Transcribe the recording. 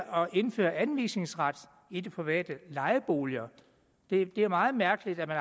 indføre anvisningsret i de private lejeboliger det er meget mærkeligt at